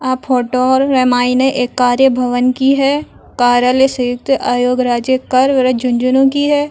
आ photo रे मायने एक कार्य भवन की है कार्यालय सयुंक्त आयोग राज्य झुँझुनू की है।